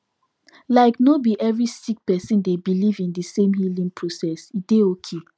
like no bi every sik person dey biliv in di sem healing process e dey okay